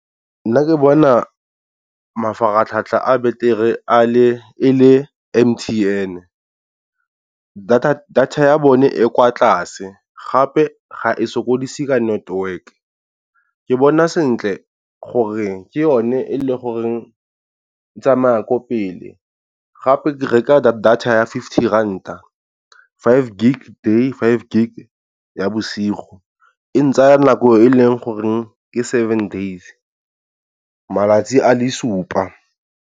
Nna ke bona mafaratlhatlha a betere e le M_T_N-e data ya bone e kwa tlase gape ga e sokodise ka network, ke bona sentle gore ke yone e le goreng e tsamaya ko pele, gape ke reka data ya fifty ranta five gig day five gig ya bosigo e ntsaya nako e leng goreng ke seven days malatsi a le supa.